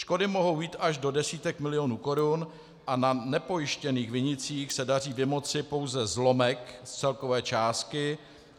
Škody mohou jít až do desítek milionů korun a na nepojištěných vinících se daří vymoci pouze zlomek z celkové částky.